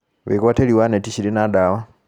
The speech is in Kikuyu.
Wĩgwatĩri wa neti cirĩ na dawa